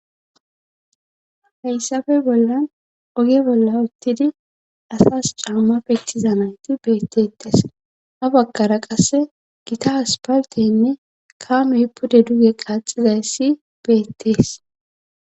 Hyassafe bollan oge bolla uttidi asas caamma pittoza nayti beeetteetes ha baggara qasse gita asååaltteynne kaammey pude duge kaaxxizayssi beettees.